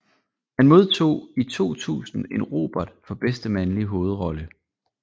Han modtog i 2000 en Robert for bedste mandlige hovedrolle